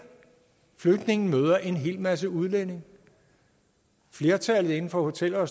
flygtningen møder en hel masse udlændinge flertallet inden for hotel og